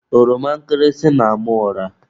Ọroma nkịrịsị na-ama ụra.